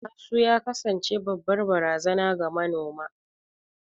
Asu ya kasance babbar barazana ga noma.